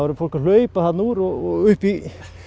fólk að hlaupa hérna úr og upp í